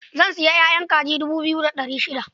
Zan sayi ƴaƴan kaji dubu biyu da ɗari shida.